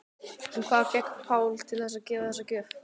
En hvað fékk Pál til þess að gefa þessa gjöf?